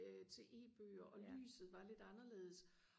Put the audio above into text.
øh til e-bøger og lyset var lidt anderledes